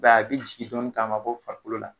A b'a ye a bi jigi dɔɔni nga a ma bɔ farikolo la